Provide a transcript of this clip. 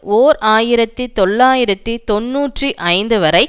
ஓர் ஆயிரத்தி தொள்ளாயிரத்தி தொன்னூற்றி ஐந்து வரை